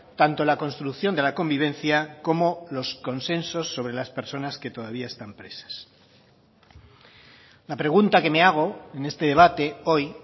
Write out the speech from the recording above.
tanto la construcción de la convivencia como los consensos sobre las personas que todavía están presas la pregunta que me hago en este debate hoy